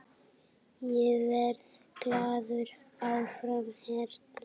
Ég verð glaður áfram hérna.